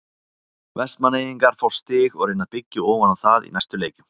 Vestmannaeyingar fá stig og reyna að byggja ofan á það í næstu leikjum.